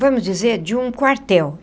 vamos dizer, de um quartel.